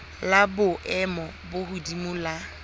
la boemo bo hodimo la